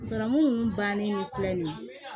Sɔrɔmu nunnu bannen filɛ nin ye